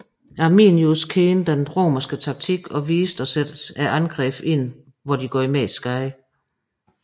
Arminius kendte den romerske taktik og vidste at sætte angrebne ind hvor de gjorde mest skade